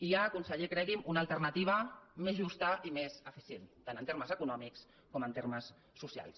hi ha conseller cregui’m una alternativa més justa i més eficient tant en termes econòmics com en termes socials